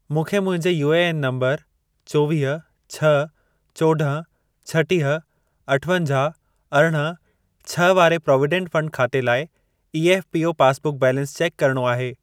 मूंखे मुंहिंजे UAN number चोवीह, छह, चोॾहं, छटीह, अठवंजाहु, अरिड़हं, छह वारे प्राविडन्ट फंड खाते लाइ ईएफ़पीओ पासबुक बैलेंस चेक करिणो आहे।